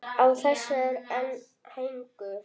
Á þessu er einn hængur.